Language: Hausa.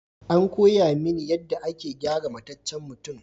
An koya mini yadda ake gyara mataccen mutum.